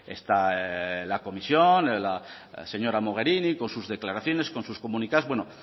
está la comisión la señora mogherini con sus declaraciones con sus comunicados bueno